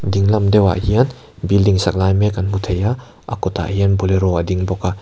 dinglam deuhah hian building sak lai mek kan hmu thei a a kawtah hian bolero a ding bawk a.